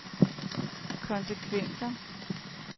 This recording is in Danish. konsekvenser